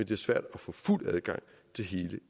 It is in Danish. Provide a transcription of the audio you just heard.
det er svært at få fuld adgang til hele